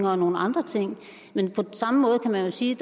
og nogle andre ting men på samme måde kan man jo sige